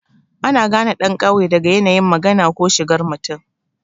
Ana gane ɗan ƙauye daga yanayin magana ko shigar mutum.